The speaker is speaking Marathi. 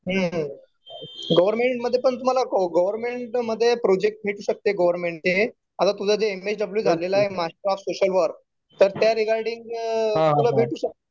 हम्म. तुम्हाला गव्हर्मेंट मध्ये पण प्रोजेक्ट भेटू शकते गव्हर्मेंटचे. आता तुझं जे एम एस डब्ल्यू झालेलं आहे मास्टर ऑफ सोशल वर्क. तर त्या रिगार्डिंग तुला भेटू शकतं.